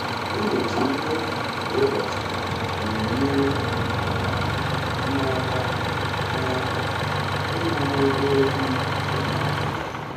Ịnyocha mmefu kwa ụbọchị na-enyere um m aka m aka ịmara ebe ego m dị na-aga.